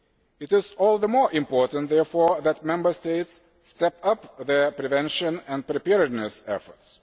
It is all the more important, therefore, that Member States step up their prevention and preparedness efforts.